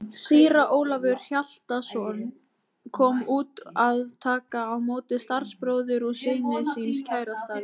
Síra Ólafur Hjaltason kom út að taka á móti starfsbróður og syni síns kærasta vinar.